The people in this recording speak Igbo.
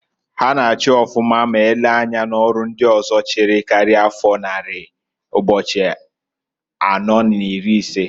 Ha na-achi ọfụma m elee anya n'ọrụ ndị ọzọ chịrị karia afọ nnari ụbo̼chi̼ anọọ n'iri isee.